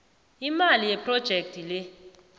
imali yephrojekhthi le